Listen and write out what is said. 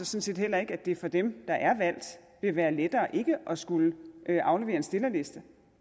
set heller ikke at det for dem der er valgt vil være lettere ikke at skulle aflevere en stillerliste